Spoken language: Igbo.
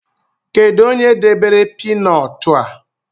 Kedu onye debere piinọt a?